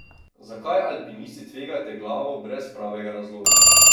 Zakaj alpinisti tvegate glavo brez pravega razloga?